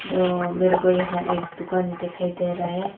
तो मेरे को यह एक दुकान दिखाई दे रहा है।